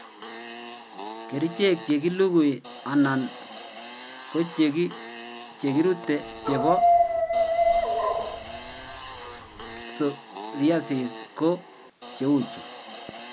Kerichek chekilugui anan kochekirute chebo psoriasis ko cheu chu